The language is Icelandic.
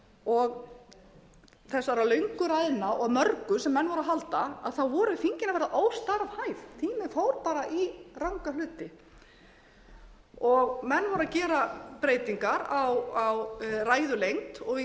og þessara löngu ræðna og mörgu sem menn voru að halda voru þingin að verða óstarfhæf tíminn fór í ranga hluti menn voru að gera breytingar á ræðulengd og í